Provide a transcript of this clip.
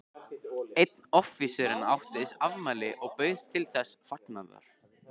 Einn offíserinn átti afmæli og bauð til þessa fagnaðar.